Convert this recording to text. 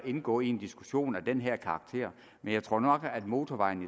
indgå i en diskussion af den her karakter men jeg tror nok at motorvejen